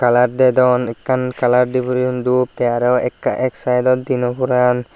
color dedon ekan color di puriyon dub tey aaro ek saidod di no puran.